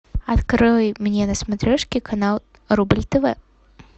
открой мне на смотрешке канал рубль тв